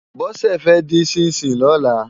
Bose fè din ṣìnṣín lòlá